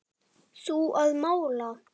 Þú að mála.